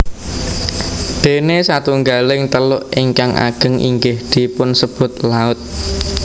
Déné satunggaling teluk ingkang ageng inggih dipunsebut laut